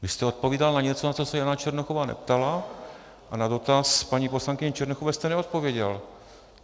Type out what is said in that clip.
Vy jste odpovídal na něco, na co se Jana Černochová neptala, a na dotaz paní poslankyně Černochové jste neodpověděl.